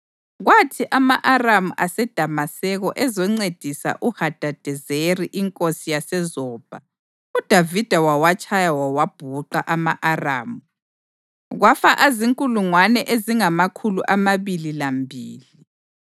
Kwathi ama-Aramu aseDamaseko ezoncedisa uHadadezeri inkosi yaseZobha, uDavida wawatshaya wawabhuqa ama-Aramu kwafa azinkulungwane ezingamakhulu amabili lambili.